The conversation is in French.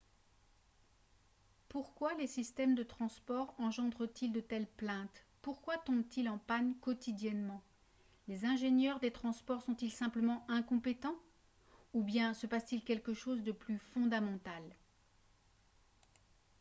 pourquoi les systèmes de transport engendrent-ils de telles plaintes pourquoi tombent-ils en panne quotidiennement les ingénieurs des transports sont-ils simplement incompétents ou bien se passe-t-il quelque chose de plus fondamental